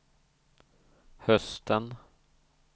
hösten